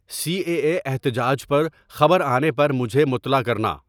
C A A احتجاج پر خبر آنے پر مجھے مطلع کرنا